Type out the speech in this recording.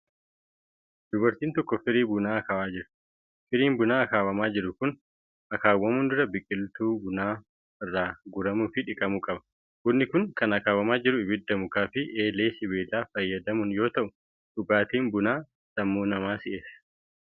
Dubartiin tokko firii bunaa akaawaa jirti. Firiin bunaa akaawwamaa jiru kun akaawwamuun dura biqiltuu bunaa irraa guuramuu fi dhiqamuu qaba. Bunni kun kan akaawwamaa jiru ibidda mukaa fi eelee sibiilaa fayyadamuun yoo ta'u, dhugaatiin bunaa sammuu namaa si'eessa.